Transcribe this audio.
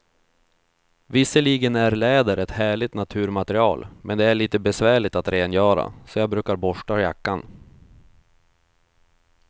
Visserligen är läder ett härligt naturmaterial, men det är lite besvärligt att rengöra, så jag brukar borsta jackan.